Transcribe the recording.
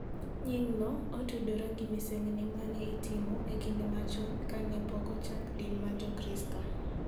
Nying'no otudore gi misengini ma ne itimo e kinde machon ka ne pok ochak din mar Jokristo,